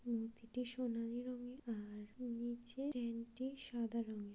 মূর্তিটি সোনালি রঙের আর নীচে টেন্ট টি সাদা রঙের ।